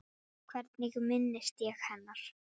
Hvernig minnist ég hennar?